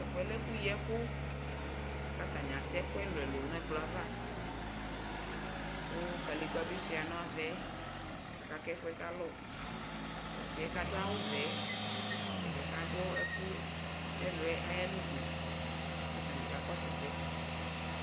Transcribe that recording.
tɛƒʋɛ lɛ ɛƒʋ yiɛkʋ katani atɛ ɛkʋɛlʋlʋ nɛ kploava kʋ kalegbabi shua navɛ aka kɛvʋɛ kalɔʋ tɔsiɛ kaɖʋ awʋvɛ nɛɖiɛ kaɖʋ ɛkʋ nɛlʋɛ ayanʋɖʋ katani kakɔsʋɛ sɛɛ